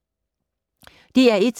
DR1